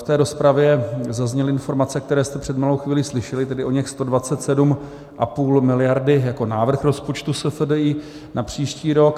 V té rozpravě zazněly informace, které jste před malou chvílí slyšeli, tedy oněch 127,5 miliardy jako návrh rozpočtu SFDI na příští rok.